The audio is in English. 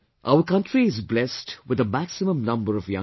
Our country is blessed with the maximum number of young people